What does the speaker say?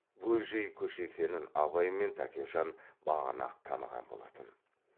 бөжей көші екенін абай мен тәкежан бағана ақ таныған болатын